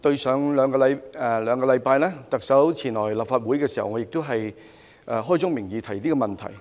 在兩星期前，特首前來立法會時，我亦開宗明義提出這個問題。